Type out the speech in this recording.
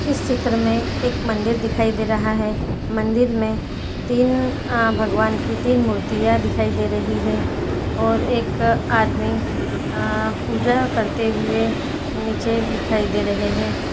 इस चित्र एक मंदिर दिखाई दे रहा है मंदिर मे तीन आ भगवान की तीन मूर्तियाँ दिखाई दे रही है और एक आदमी आ पूजा करते हुए नीचे दिखाई रहे है।